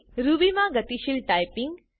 Ruby માં ગતિશીલ typing